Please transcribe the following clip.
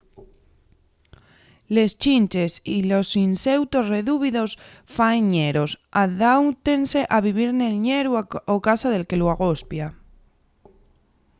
les chinches y los inseutos redúvidos faen ñeros adáutense a vivir nel ñeru o casa del que lu agospia